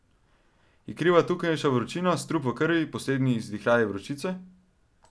Je kriva tukajšnja vročina, strup v krvi, poslednji izdihljaji vročice.